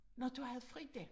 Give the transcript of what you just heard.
Nåh du havde Frida